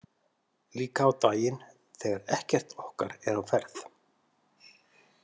Líka á daginn þegar ekkert okkar er á ferð.